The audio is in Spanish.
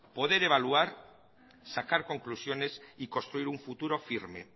poder evaluar sacar conclusiones y construir un futuro firme